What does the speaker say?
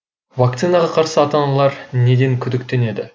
вакцинаға қарсы ата аналар неден күдіктенеді